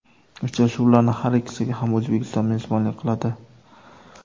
Uchrashuvlarning har ikkisiga ham O‘zbekiston mezbonlik qiladi.